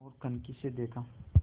ओर कनखी से देखा